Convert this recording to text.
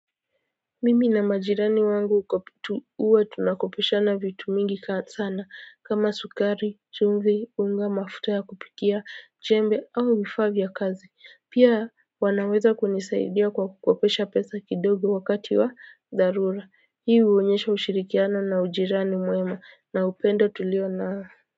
Mimi na majirani wangu kutu huwa tunakopeshana vitu mingi sana kama sukari chumvi unga mafuta ya kupikia jembe au vifaa vya kazi pia wanaweza kunisaidia kwa kukopesha pesa kidogo wakati wa dharura hii huonyesha ushirikiana na ujirani mwema na upenda tuli nayo.